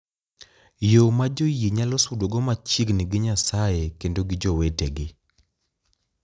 Yo ma joyie nyalo sudogo machiegni gi Nyasaye kendo gi jowetegi.